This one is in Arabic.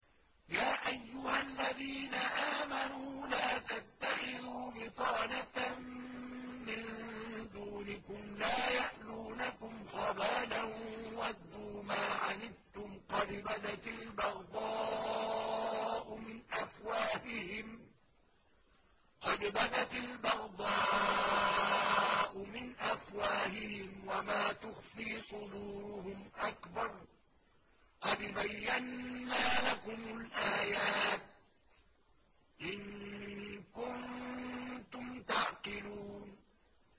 يَا أَيُّهَا الَّذِينَ آمَنُوا لَا تَتَّخِذُوا بِطَانَةً مِّن دُونِكُمْ لَا يَأْلُونَكُمْ خَبَالًا وَدُّوا مَا عَنِتُّمْ قَدْ بَدَتِ الْبَغْضَاءُ مِنْ أَفْوَاهِهِمْ وَمَا تُخْفِي صُدُورُهُمْ أَكْبَرُ ۚ قَدْ بَيَّنَّا لَكُمُ الْآيَاتِ ۖ إِن كُنتُمْ تَعْقِلُونَ